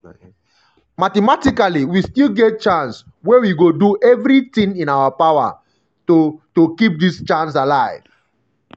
mathematically we still get chance wey we go do everitin in our power to to keep dis chance alive.”